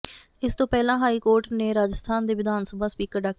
ਇਸ ਤੋਂ ਪਹਿਲਾਂ ਹਾਈ ਕੋਰਟ ਨੇ ਰਾਜਸਥਾਨ ਦੇ ਵਿਧਾਨ ਸਭਾ ਸਪੀਕਰ ਡਾ